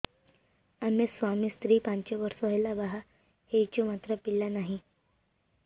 ଆମେ ସ୍ୱାମୀ ସ୍ତ୍ରୀ ପାଞ୍ଚ ବର୍ଷ ହେଲା ବାହା ହେଇଛୁ ମାତ୍ର ପିଲା ନାହିଁ